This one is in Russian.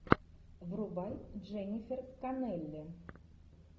врубай дженнифер коннелли